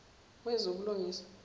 wezobulungiswa